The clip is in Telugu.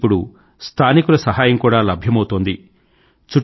వీరికి ఇప్పుడు స్థానీయుల సహాయం కూడా లభ్యమౌతోంది